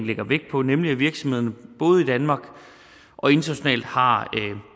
lægger vægt på nemlig at virksomhederne både i danmark og internationalt har